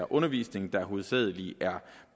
undervisning der hovedsagelig er